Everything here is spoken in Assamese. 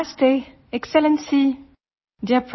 audio UNESCO DG